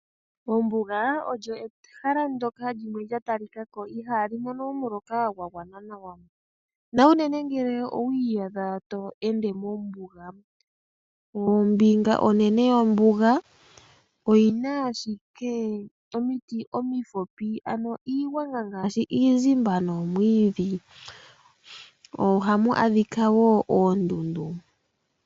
Ombuga olyo ehala ndjoka lya talikako iha li mono omuloka gwa gwana. Naunene ngele owi iyadha twe ended mombuga, ombinga onene yombuga, oyina ashike omiti omifupi, ano iigwanga ngaashi iizimba nomwiidhi. Oha mu adhika wo oondundu.